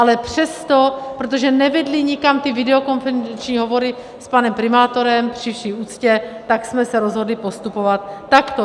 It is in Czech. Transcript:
Ale přesto, protože nevedly nikam ty videokonferenční hovory s panem primátorem, při vší úctě, tak jsme se rozhodli postupovat takto.